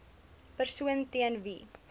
persoon teen wie